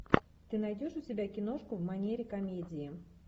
ты найдешь у себя киношку в манере комедии